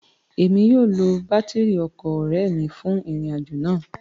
Emi yóò lo batiri ọkọ ọrẹ mi fun irin-ajo naa